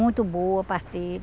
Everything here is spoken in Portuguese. Muito boa a parteira.